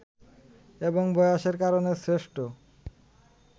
এবং বয়সের কারণে সৃষ্ট